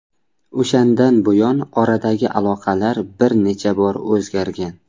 O‘shandan buyon oradagi aloqalar bir necha bor o‘zgargan.